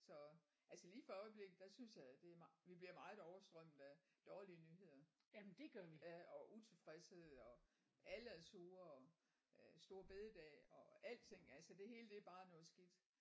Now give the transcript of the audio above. Så altså lige for øjeblikket der synes jeg det er vi bliver meget overstrømmet af dårlige nyheder ja og utilfredshed og alle er sure og øh Store Bededag og alting altså det hele det er bare noget skidt